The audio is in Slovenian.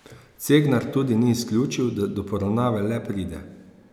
Cegnar tudi ni izključil, da do poravnave le pride.